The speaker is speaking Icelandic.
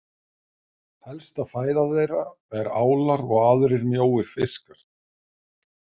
Helsta fæða þeirra er álar og aðrir mjóir fiskar.